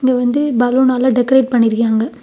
இங்க வந்து பலூனால டெக்கரேட் பண்ணிருக்காங்க.